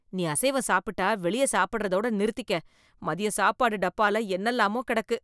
நீ அசைவம் சாப்பிட்டா வெளிய சாப்படறதோட நிறுத்திக்க. மதியம் சாப்பாடு டப்பால என்னலாமோ கெடக்கு,